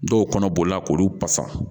Dɔw kɔnɔ bolila k'olu fasa